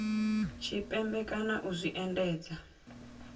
tshipembe kana u zwi endedza